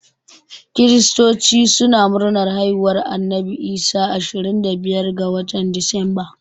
Kiristoci suna murnar haihuwar Annabi Isa ashirin da biyar ga watan Disamba